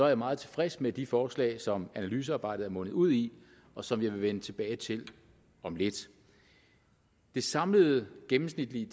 jeg meget tilfreds med de forslag som analysearbejdet er mundet ud i og som jeg vil vende tilbage til om lidt det samlede gennemsnitlige